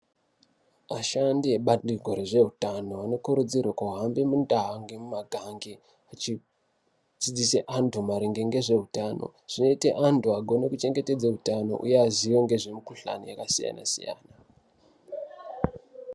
Ashandi ebandiko rezveutano anokurudzirwe kuhambe mundaa ngemumagange achidzidzise antu maringe ngezveutano zvinoite antu agone kuchengetedze utano uye aziye ngezvemukhuhlane yakasiyana -siyana.